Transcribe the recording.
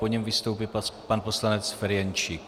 Po něm vystoupí pan poslanec Ferjenčík.